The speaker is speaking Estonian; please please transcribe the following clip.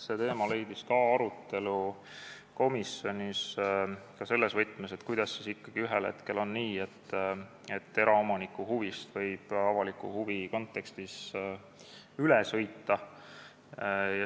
" See teema leidis komisjonis ka arutelu, seda selles võtmes, kuidas siis ikkagi ühel hetkel on nii, et eraomaniku huvist võib avaliku huvi kontekstis üle sõita.